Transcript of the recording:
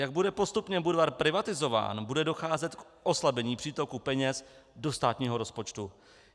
Jak bude postupně Budvar privatizován, bude docházet k oslabení přítoku peněz do státního rozpočtu.